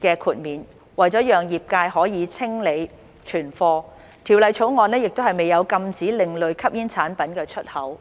的豁免，為了讓業界可清理存貨，《條例草案》亦未有禁止另類吸煙產品的出口。